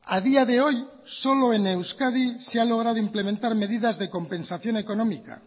a día de hoy solo en euskadi se ha logrado implementar medidas de compensación económica